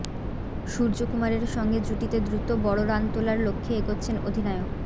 সূর্যকুমারের সঙ্গে জুটিতে দ্রুত বড় রান তোলার লক্ষ্যে এগোচ্ছেন অধিনায়ক